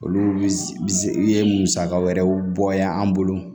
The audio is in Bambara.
Olu bi se ye musaka wɛrɛw bɔ yan an bolo